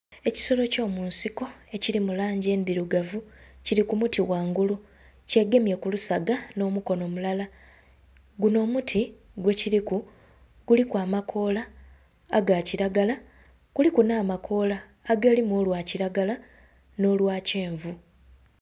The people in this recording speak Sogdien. Ekisolo kyo munsiko emiti mu langi endhirugavu kiri ku muti ghangulu, kye gemye ku lusaga nho mukonho mulala. Gunho omuti gwe kiriku guliku amakoola aga kilagala kuliku nha amakoola agalimu olwa kilagala nho lwa kyenvu.